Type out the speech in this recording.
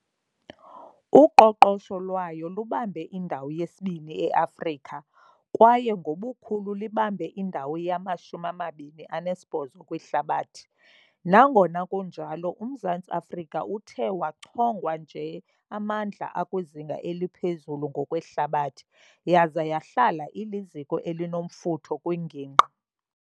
Uqoqosho lwayo lubambe indawo yesibini eAfrika, kwaye ngobukhulu libambe indawo yama-28 kwihlabathi. Nangona kunjalo, uMzantsi Afrika uthe wachongwa njeamandla akwizinga eliphezulu ngokwehlabathi, yaza yahlala iliziko elinomfutho kwingingqi.